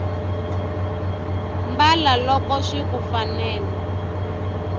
mbala loko swiku fanela